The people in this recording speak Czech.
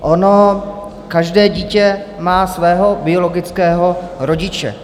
Ono každé dítě má svého biologického rodiče.